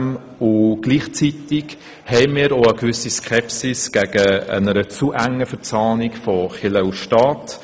Gleichzeitig empfinden wir eine gewisse Skepsis gegenüber einer zu engen Verzahnung von Kirche und Staat.